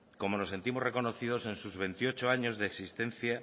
como nos sentimos reconocemos en sus veintiocho años de existencia